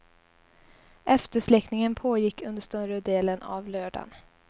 Eftersläckningen pågick under större delen av lördagen.